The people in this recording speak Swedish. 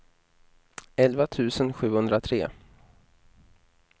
elva tusen sjuhundratre